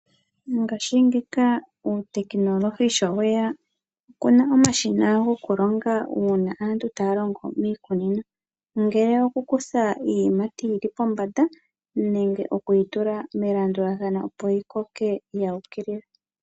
Mongaashingeyi uutekinolohi sho weya oku na omashina gokulonga uuna aantu taya longo miikunino ngele okukutha iiyimati yi li pombanda nenge okuyitula melandulathano opo yi koke yuukilila.